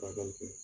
Furakɛli kɛ